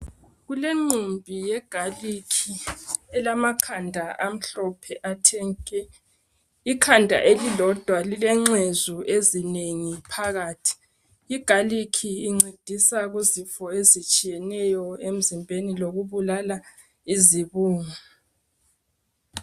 kulenqumbi yegalikhi elamakhanda amhlophe athe nke, ikhanda elilodwa lilenxezu ezinengi phakathi, igarlic incedisa kuzifo ezinengi emzimbeni lokubulala izibungu.